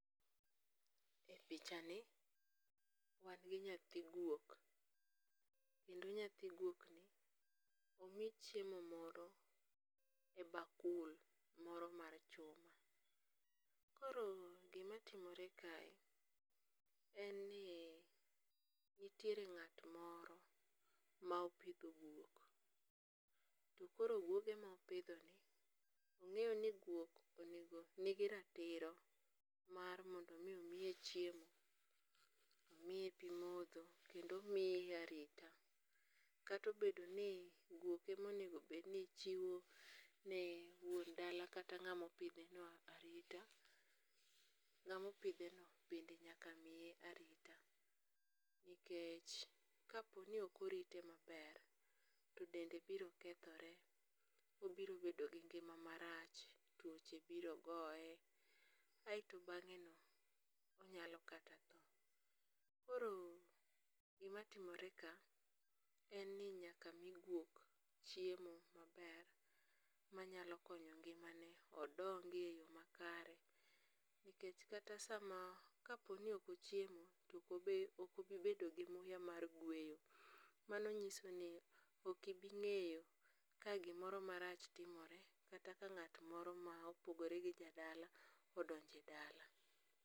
E pichani wan gi nyathi guok, kendo nyathi guokni omi chiemo moro e bakul moro mar chuma. Koro gimatimore kae en ni nitiere ng'at moro ma opitho guok, to koro guoge mopithoni ong'eyo ni guok nigi ratiro mar mondo mi omiye chiemo, omiye pimotho kendo omiye arita, kata obedo ni guok emonigo bed ni chiwone wuon dala kata ng'amo pitheno arita, nga'mopitheno bende nyaka miye arita, nikech kaponi okorite maber to dende biro kethore obiro bedo gi ng'ima marach twoche biro goye, ayeto mang'eno onyalo kata tho. Koro gimatimore ka en ni nyaka mi guok chiemo maber manyako konyo ng'imane odongie e yo makare. nikech sama ka poni ok ochiemo to okobi bedo gi muya mar gweyo, mano nyisoni okibing'eyo ka gimoro marach timore kata ka ng'at moro ma opogore gi ja dala odonje dala.